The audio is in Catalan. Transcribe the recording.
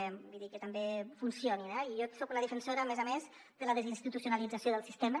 vull dir que també funcionin eh i jo soc una defensora a més a més de la desinstitucionalització del sistema